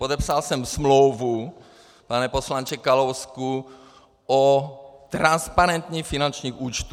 Podepsal jsem smlouvu, pane poslanče Kalousku, o transparentním finančním účtu.